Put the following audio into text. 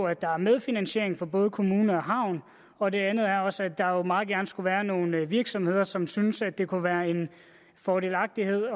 at der er medfinansiering fra både kommune og havn og det andet er også at der jo meget gerne skulle være nogle virksomheder som synes at det kunne være fordelagtigt